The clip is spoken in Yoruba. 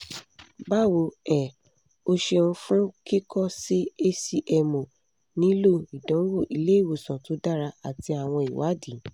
bawo um o ṣeun fun kikọ si hcmo nilo idanwo ile-iwosan to dara ati awọn iwadii